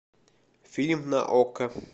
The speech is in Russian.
фильм на окко